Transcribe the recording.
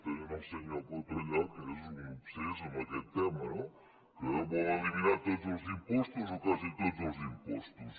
tenen el senyor coto allà que és un obsés en aquest tema no que vol eliminar tots els impostos o quasi tots els impostos